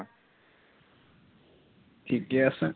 ঠিকেই আছে